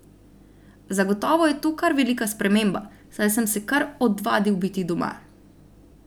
Zagotovo je to kar velika sprememba, saj sem se kar odvadil biti doma.